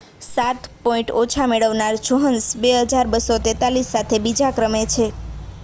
સાત પૉઇન્ટ ઓછા મેળવનાર જોહ્નસન 2,243 સાથે બીજા ક્રમે છે